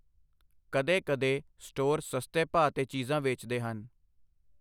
ਕਦੇ ਕਦੇ, ਸਟੋਰ ਸਸਤੇ ਭਾਅ 'ਤੇ ਚੀਜ਼ਾਂ ਵੇਚਦੇ ਹਨ।